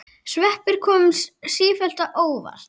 Sveppir koma sífellt á óvart!